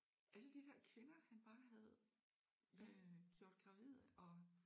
Alle de der kvinder han bare havde øh gjort gravide og